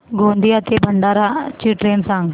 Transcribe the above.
गोंदिया ते भंडारा ची ट्रेन सांग